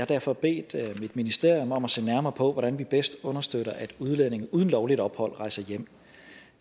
derfor bedt mit ministerium om at se nærmere på hvordan vi bedst understøtter at udlændinge uden lovligt ophold rejser hjem